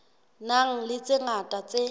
nang le tse ngata tse